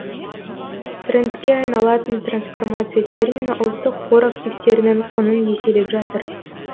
трендке айналатын трансформация термині ұлттық қор активтерінің құнын еселеп жатыр